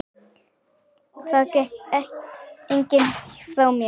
Það tekur enginn frá mér.